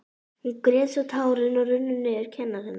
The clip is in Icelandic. Hún grét svo tárin runnu niður kinnar hennar.